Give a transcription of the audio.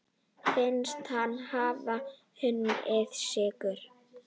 Finnst hann hafa unnið sigur.